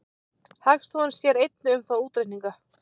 Hagstofan sér einnig um þá útreikninga.